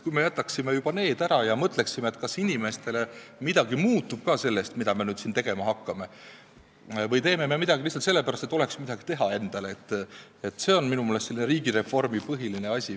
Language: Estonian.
Kui me selle ära jätaksime, kui me mõtleksime, kas inimeste elus midagi muutub sellest, mida me nüüd tegema hakkame, või teeme me midagi lihtsalt sellepärast, et oleks midagi teha – see on minu meelest riigireformi põhiline asi.